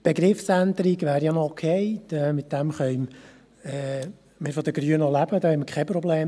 Die Begriffsänderung wäre ja noch okay, damit können wir von den Grünen leben, damit haben wir keine Probleme.